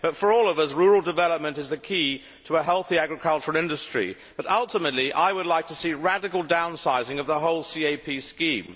For all of us, rural development is the key to a healthy agricultural industry, but ultimately, I would like to see radical downsizing of the whole CAP scheme.